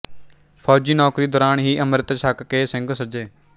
ਫੌਜੀ ਨੌਕਰੀ ਦੌਰਾਨ ਹੀ ਅੰਮ੍ਰਿਤ ਛੱਕ ਕੇ ਸਿੰਘ ਸੱਜੇ